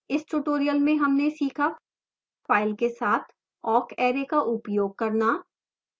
इस tutorial में हमने सीखाफाइल के साथ awk array का उपयोग करना